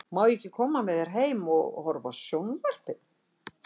Má ég ekki koma með þér heim og horfa á sjón- varpið?